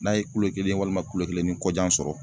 N'a ye kulo kelen walima kulo kelen ni kɔjan sɔrɔ